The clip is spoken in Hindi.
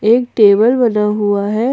एक टेबल बना हुआ है।